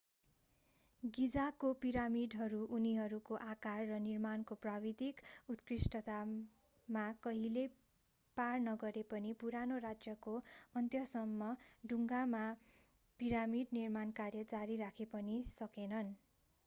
गिजाको पिरामिडहरू उनीहरूको आकार र निर्माणको प्राविधिक उत्कृष्टतामा कहिल्यै पार नगरे पनि पुरानो राज्यको अन्त्यसम्म ढुङ्गामा पिरामिड निर्माण कार्य जारी राखे पनि सकेनन्